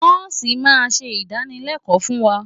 Nọ́ọ̀sì máa ṣe ìdánılẹ́kọ̀ọ́ fún wa.